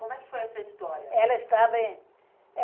Como é que foi essa história? Ela estava em